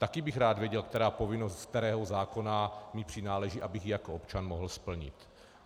Taky bych rád věděl, která povinnost z kterého zákona mi přináleží, abych ji jako občan mohl splnit.